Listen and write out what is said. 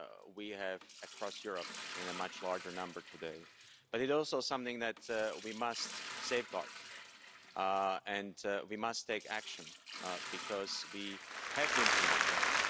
we have across Europe in a much larger number today. It also something that we must safeguard, and we must take action, because we have been under threat.